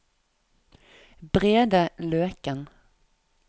Brede Løken